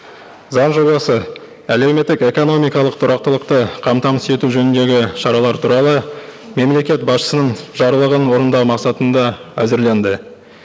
заң жобасы әлеуметтік экономикалық тұрақтылықты қамтамасыз ету жөніндегі шаралар туралы мемлекет басшысының жарлығын орындау мақсатында әзірленді